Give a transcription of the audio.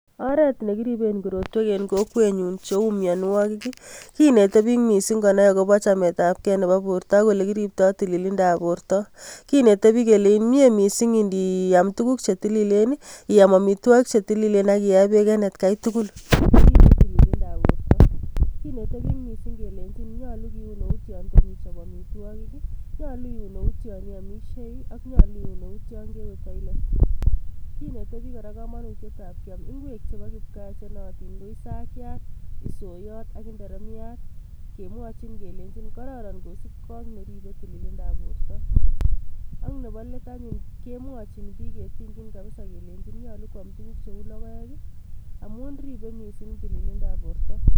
Oret nekiriben korotwek en kokwenyun cheu mianwagik kinetei pik mising konai akobo chametapkei nebo porta, ak ole kiriptoi tililindab porta. Kinete pik kele mie mising ngiam tukuk che tililen, iam amitwagik chetililen ak ie bek en atkei tugul. Sikorip tililindab porta. Kinetei pik mising kelenchin nyolu keun eut yo toma ichop amitwagik, nyolu iun eut yon iamishei, nyolu iun eut yon kewe toilet. Kinete pik kora komanutiet ab kiam ingwek chebo kipgaa chenaatin ko, isakyat, isoiyot, ak inderemyat. kemwachin kelenchin kororon kosupkei neribei tililindab porta. Ak nebo let anyun, kemwachin pik ketienchin kabisa keleini koam tukuk cheu logoek, amun ribei mising tililindab porta.